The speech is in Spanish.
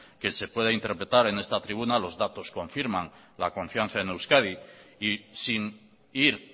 que se pueda interpretar en esta tribuna los datos confirman la confianza en euskadi y sin ir